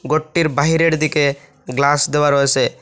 গরটির বাহিরের দিকে গ্লাস দেওয়া রয়েসে ।